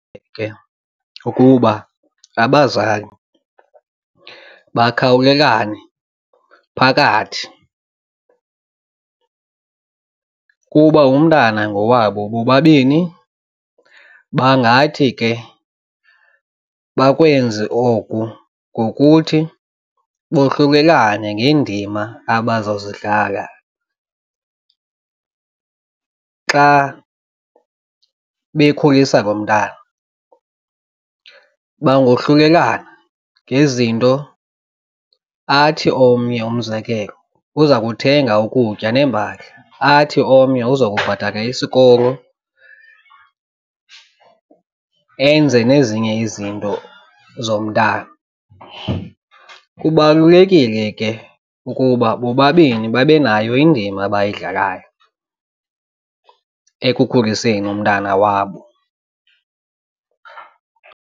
Ukuba abazali bakhawulelane phakathi kuba umntana ngowabo bobabini bangathi ke bakwenze oku ngokuthi bohlulelane ngeendima abaza kuzidlala xa bekhulisa lo mntana. Bangohlulelana ngezinto athi omnye umzekelo uza kuthenga ukutya neempahla, athi omnye uzokubhatala isikolo enze nezinye izinto zomntwana. Kubalulekile ke ukuba bobabini babe nayo indima abayidlalayo ekukhuliseni umntana wabo.